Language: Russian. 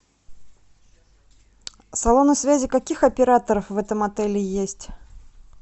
салоны связи каких операторов в этом отеле есть